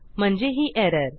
म्हणजे ही एरर